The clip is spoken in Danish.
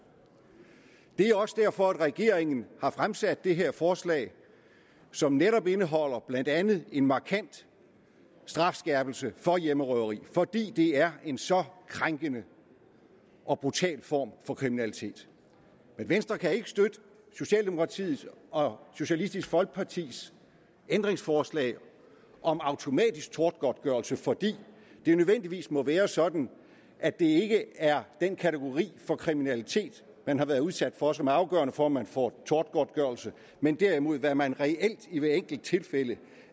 det er også derfor regeringen har fremsat det her forslag som netop indeholder blandt andet en markant strafskærpelse for hjemmerøveri fordi det er en så krænkende og brutal form for kriminalitet men venstre kan ikke støtte socialdemokratiet og socialistisk folkepartis ændringsforslag om automatisk tortgodtgørelse fordi det nødvendigvis må være sådan at det ikke er den kategori af kriminalitet man har været udsat for som er afgørende for om man får tortgodtgørelse men derimod hvad man reelt i hvert enkelt tilfælde